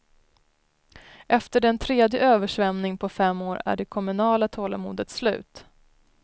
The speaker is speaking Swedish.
Efter den tredje översvämningen på fem år är det kommunala tålamodet slut.